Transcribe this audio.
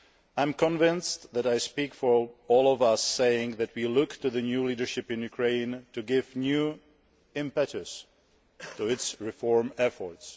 I am convinced that I speak for all of us in saying that we look to the new leadership in Ukraine to give new impetus to its reform efforts.